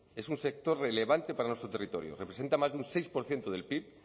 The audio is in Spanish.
es un sector relevante para nuestro territorio representa más de un seis por ciento del pib